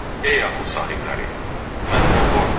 Ey ağıl sahibləri, məndən qorxun.